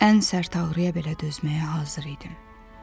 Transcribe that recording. ən sərt ağrıya belə dözməyə hazır idim.